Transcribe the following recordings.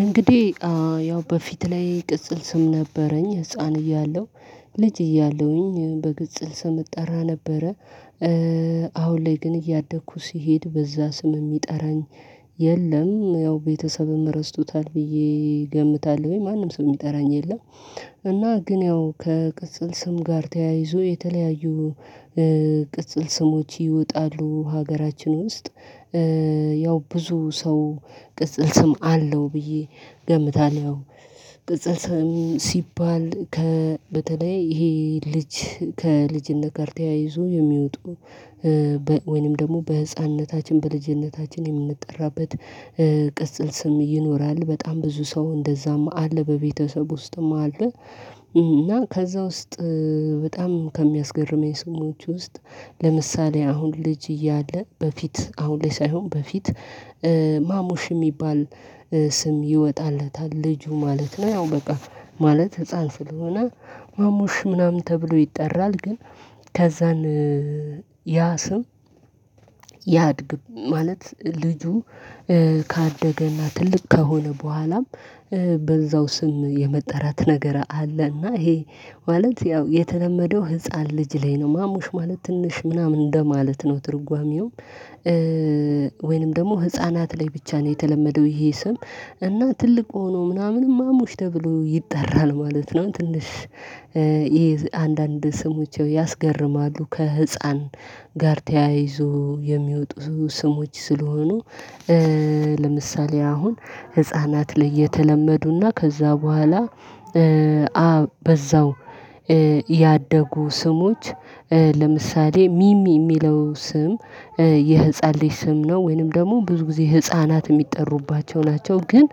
እንግዲህ ያው በፊት ላይ ቅጽል ስም ነበረኝ ህፃን እያለሁ ልጅ እያለሁኝ በቅጽል ስም እጠራ ነበረ፤። አሁን ላይ ግን እያደግኩ ሲሄድ በዛ ስም የሚጠራኝ የለም ያው ቤተሰብም ረስቶታል ብዬ ገምታለሁኝ ማንም ስም የሚጠራኝ የለም። እና ግን ያው ከቅጽል ስም ጋር ተያይዞ የተለያዩ ቅጽል ስሞች ይወጣሉ። ሀገራችን ውስጥ ያው ብዙ ሰው ቅጽል ስም አለው ብዬ ገምታል። ያው ቅጽል ስም ሲባል ከ በተለይ ይሄ ልጅ ከልጅነት ጋር ተያይዞ የሚወጡ ወይንም ደግሞ በህፃንነታችን በልጅነታችን የምንጠራበት ቅጽል ስም ይኖራል። በጣም ብዙ ሰው እንደዛም አለ በቤተሰብ ውስጥም አለ። እና ከዛ ውስጥ በጣም ከሚያስገርመኝ ስሞች ውስጥ ለምሳሌ አሁን ልጅ እያለ በፊት አሁን ላይ ሳይሆን በፊት ማሙሽ የሚባል ስም ይወጣለታል ልጁ ማለት ነው። ያው በቃ ማለት ህፃን ስለሆነ ማሙሽ ምናምን ተብሎ ይጠራል። ግን ከዛን ያ ስም ያድግ ማለት ልጁ ካደገና ትልቅ ከሆነ በኋላም በዛው ስም የመጠራት ነገር አለና። ይሄ ማለት ያው የተለመደው ህፃን ልጅ ላይ ነው ማሙሽ ማለት ትንሽ ምናምን እንደማለት ነው ትርጓሜው። ወይንም ደግሞ ህፃናት ላይ ብቻ ነው የተለመደው ይሄ ስም እና ትልቅ ሆኖ ምናምን ማሙሽ ተብሎ ይጠራል ማለት ነው። ትንሽ ይሄ አንዳንድ ስሞች ያው ያስገርማሉ ከህፃን ጋር ተያይዞ የሚወጡ ስሞች ስለሆኑ ለምሳሌ አሁን ህፃናት ላይ የተለመዱና ከዛ በኋላ በዛው ያደጉ ስሞች ለምሳሌ ሚሚ የሚለው ስም የህፃን ልጅ ስም ነው። ወይንም ደግሞ ብዙ ጊዜ ህፃናት የሚጠሩባቸው ናቸው ግን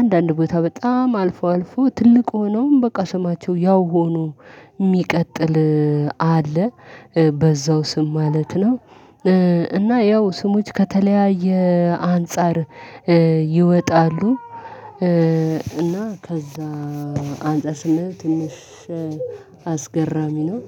አንዳንድ ቦታ በጣም አልፎ አልፎ ትልቅ ሆነውም በቃ ስማቸው ያው ሆኖ የሚቀጥል አለ። በዛው ስም ማለት ነው፤። እና ያው ስሞች ከተለያየ አንፃር ይወጣሉ እና ከዛ አንፃር ስምህ ትንሽ አስገራሚ ነው።